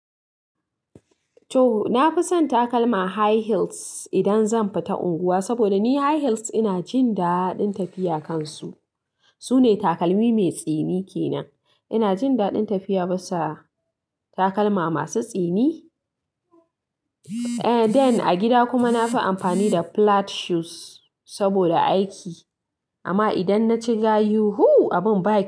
Toh, na fi son takalma high heels, idan zan fita unguwa, saboda ni high heels ina jin daɗin tafiya kansu. Su ne takalmi mai tsini ke nan. Ina jin daɗin tafiya bisa, takalma masu tsini. Eh, den a gida kuma na fi amfani da flat shoes, saboda aiki. Amma idan na ci gayu, hu! Abin ba.